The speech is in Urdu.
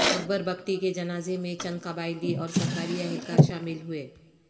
اکبر بگٹی کے جنازے میں چند قبائلی اور سرکاری اہلکار شامل ہوئے